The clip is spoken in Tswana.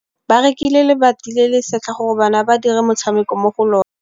Ba rekile lebati le le setlha gore bana ba dire motshameko mo go lona.